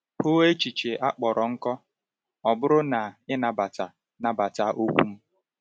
Hụ echiche a kpọrọ nkọ “ọ bụrụ na i nabata nabata okwu m.”